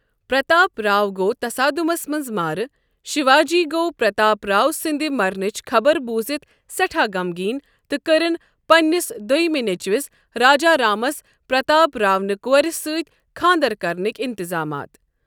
پرتاپ راؤ گو٘ تصادٗمس منز مارٕ ، شیواجی گوٚو پرتاپراؤ سٕنٛدِ مرنٕچ خبر بوٗزِتھ سٮ۪ٹھاہ غمگیٖن، تہٕ كرِن پنِنِس دوٚیمہِ نیٚچوِس راجا رامس پرتاپ راؤنہِ کورِ سۭتۍ خانٛدر کرنٕکۍ اِنتظامات۔